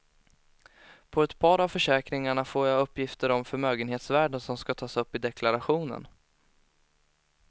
På ett par av försäkringarna får jag uppgifter om förmögenhetsvärden som skall tas upp i deklarationen.